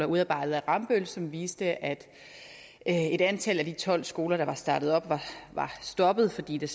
udarbejdet af rambøll som viste at et antal af de tolv skoler der var startet op var stoppet fordi der